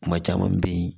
Kuma caman bɛ ye